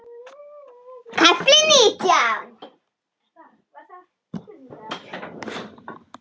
KAFLI NÍTJÁN